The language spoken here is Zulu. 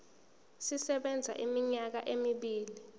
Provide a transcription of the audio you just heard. sisebenza iminyaka emibili